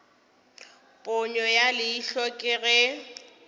ponyo ya leihlo ke ge